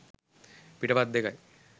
පිටපත් දෙකයි.